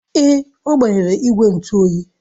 Èé, agbanyere igwe ntụ oyi.